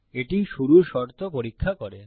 এটি শুরুর শর্ত পরীক্ষা করে